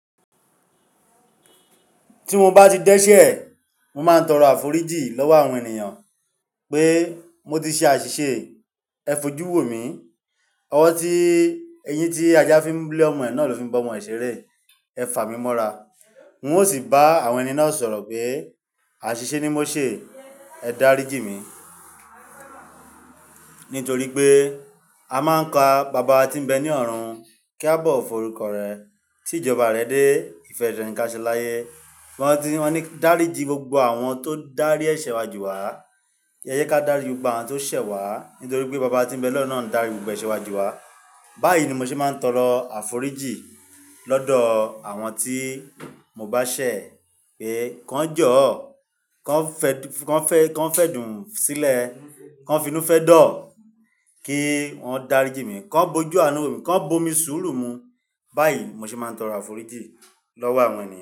Tí mo bá ti dẹ́ṣẹ̀, mo máa ń tọrọ àforíjì lọ́wọ́ àwọn ènìyàn pé mo ti ṣe àṣìṣe ẹ fojú wo mi. Ọwọ́ tí, eyín tí ajá fi ń lẹ̀ ọmọ ẹ̀ náà ló fi ń bọ́ ọmọ ẹ̀ ṣeré. Ẹ fà mí mọ́ra. N ó sì bá àwọn ẹni náà sọ̀rọ̀ pé àṣìṣe ni mo ṣe, ẹ dáríjì mí. Nítorí pé a máa ń ka baba tí ń bẹ ní ọ̀run kí a bọ̀ ó forúkọ rẹ̀ tí ìjọba rẹ dé. Ìfẹ́ rẹ̀ ní ká ṣẹ láyé. Wọ́n ti, wọ́n ní dáríjì gbogbo àwọn tó dárí ẹṣẹ̀ wá jù wá. Yé jẹ kí á dárí gbogbo àwọn tó ṣẹ̀ wá nítorí pé baba tí ń bẹ lọ́run náà ń darí gbogbo ẹṣẹ̀ wa jù wá. Báyìí ni mo ṣe máa ń tọrọ àforíjì lọ́dọ̀ àwọn tí mo bá ṣẹ̀ pé kí wọ́n jọ́ ọ́, kí wọ́n fẹ́, kí wọ́n fẹ́ dùn ún sílẹ̀, kí wọ́n fínú fẹ́ dọ̀ ọ́ kí wọ́n dáríjì mí, kí wọ́n bojú àánú wo mi, kí wọ́n bo mi sùúrù mu. Báyìí mo ṣe máa ń tọrọ àforíjì lọ́wọ́ àwọn ènìyàn.